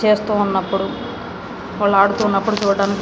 చేస్తూ ఉన్నప్పుడు వాళ్ళు ఆడుతున్నప్పుడు --